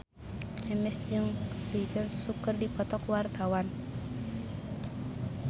Memes jeung Lee Jeong Suk keur dipoto ku wartawan